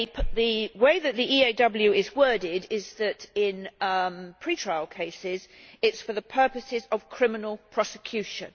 The way that the EAW is worded is that in pre trial cases it is for the purposes of criminal prosecution.